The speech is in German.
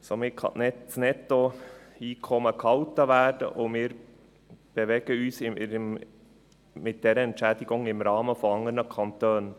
Somit kann das Nettoeinkommen gehalten werden, und wir bewegen uns mit dieser Entschädigung im Rahmen der anderen Kantone.